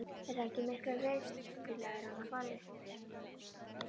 Er það ekki miklu viturlegra en að fara upp?